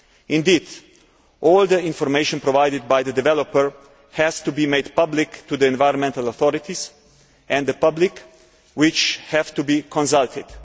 Indeed, all the information provided by the developer has to be made public to the environmental authorities and the public, which have to be consulted.